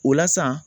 O la sa